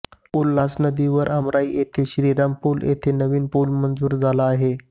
उल्हासनदीवर आमराई येथील श्रीराम पूल येथे नवीन पूल मंजूर झाला आहे